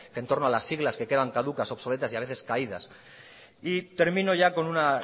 que en torno a las siglas que quedan caducas obsoletas y a veces caídas y termino ya con una